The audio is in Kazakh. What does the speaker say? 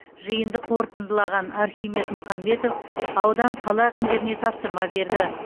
жиынды қорытындылаған архимед мұхамбетов аудан қала әкімдеріне тапсырма берді